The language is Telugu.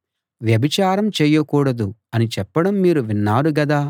వ్యభిచారం చేయకూడదు అని చెప్పడం మీరు విన్నారు గదా